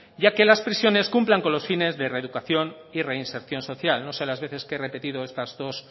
y a que las prisiones cumplan con los fines de reeducación y reinserción social no sé las veces que he repetido